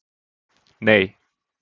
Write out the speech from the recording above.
Nei